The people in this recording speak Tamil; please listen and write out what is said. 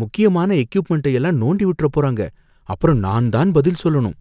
முக்கியமான எக்கியூப்மெண்ட்ட எல்லாம் நோண்டி விட்டுறப் போறாங்க, அப்பறம் நான் தான் பதில் சொல்லணும்